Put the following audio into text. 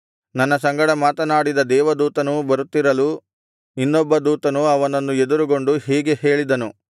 ನನ್ನ ಸಂಗಡ ಮಾತನಾಡಿದ ದೇವದೂತನು ಬರುತ್ತಿರಲು ಇನ್ನೊಬ್ಬ ದೂತನು ಅವನನ್ನು ಎದುರುಗೊಂಡು ಹೀಗೆ ಹೇಳಿದನು